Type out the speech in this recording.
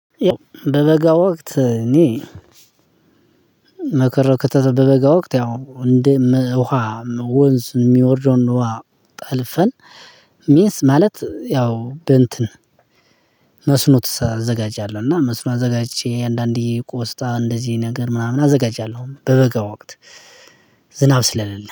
በበጋ ወቅት እኔ፣ መከራ ከተተ በበጋ ወቅት ያው እንደ ውሃ ወንዝ የሚወርደውን ውሃ ጠልፈን ሚንስ ማለት ያው በእንትን መስኖ ትሰ አዘጋጃለህ እና መስኖ አዘጋጅቼ አንዳንዴ ቆስጣ እንደዚህ ነገር ምናምን አዘጋጃለሁ። በበጋ ወቅት፤ ዝናብ ስለሌለ